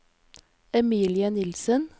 Emilie Nilsen